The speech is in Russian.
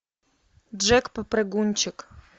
джек попрыгунчик